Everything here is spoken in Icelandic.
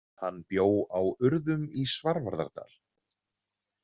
Hann bjó á Urðum í Svarfaðardal.